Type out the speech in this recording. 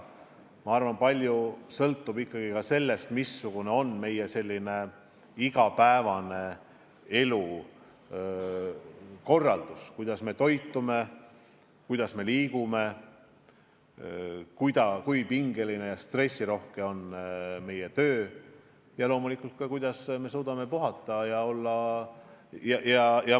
Ma arvan, et palju sõltub ka sellest, missugune on meie igapäevane elukorraldus, kuidas me toitume, kui palju me liigume, kui pingeline ja stressirohke on meie töö ja loomulikult ka, kui hästi me suudame puhata ja magada.